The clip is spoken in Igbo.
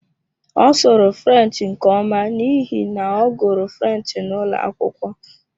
Ọ sụrụ French nke ọma n'ihi na ọ gụrụ French n'ụlọ akwụkwọ.